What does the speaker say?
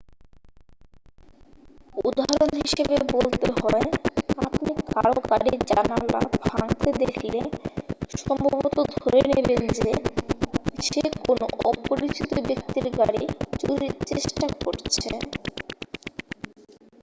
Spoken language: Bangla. উদাহরণ হিসাবে বলতে হয় আপনি কারও গাড়ির জানালা ভাঙতে দেখলে সম্ভবত ধরে নেবেন যে সে কোনও অপরিচিত ব্যক্তির গাড়ি চুরির চেষ্টা করছে